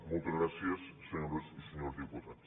moltes gràcies senyores i senyors diputats